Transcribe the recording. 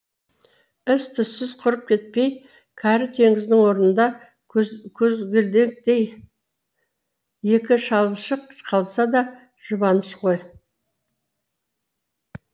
із түзсіз құрып кетпей кәрі теңіздің орнында көзгелдектей екі шалшық қалса да жұбаныш қой